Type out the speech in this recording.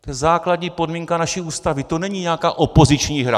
To je základní podmínka naší Ústavy, to není nějaká opoziční hra.